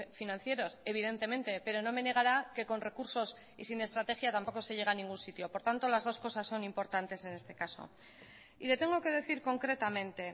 financieros evidentemente pero no me negará que con recursos y sin estrategia tampoco se llega a ningún sitio por tanto las dos cosas son importantes en este caso y le tengo que decir concretamente